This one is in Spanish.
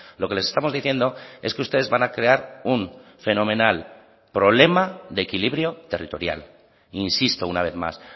lo que les estamos diciendo es que ustedes van a crear un fenomenal problema de equilibrio territorial insisto una vez más